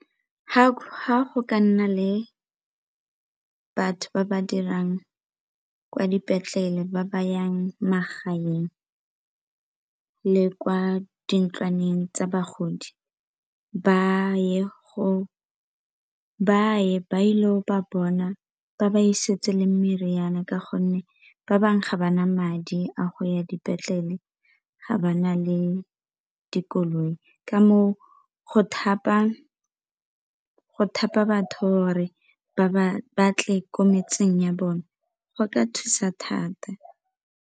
Ga go ka nna le batho ba ba dirang kwa dipetlele ba ba yang magaeng le kwa di ntlwaneng tsa bagodi ba ye ba ile ba bona ba ba isetse le meriana ka gonne ba bangwe ga ba na madi a go ya dipetlele ga ba na le koloi, ka moo go thapa batho gore ba tle ko metseng ya bone go ka thusa thata.